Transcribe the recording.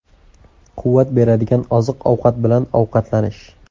Quvvat beradigan oziq-ovqatlar bilan ovqatlanish.